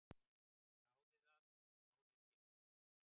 """Þráði það, en náði ekki."""